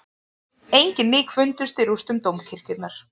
Engin lík fundust í rústum dómkirkjunnar